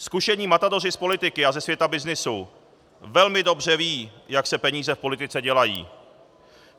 Zkušení matadoři z politiky a ze světa byznysu velmi dobře vědí, jak se peníze v politice dělají.